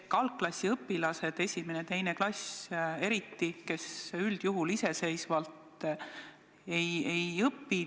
Algklassiõpilased, 1. ja 2. klass eriti, üldjuhul iseseisvalt ei õpi.